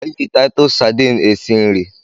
E ji taitus Sadini esi nri